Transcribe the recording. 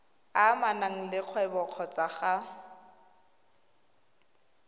amanang le kgwebo kgotsa ga